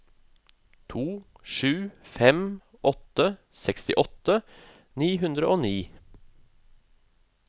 to sju fem åtte sekstiåtte ni hundre og ni